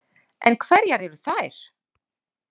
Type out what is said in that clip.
En hverjar eru þær?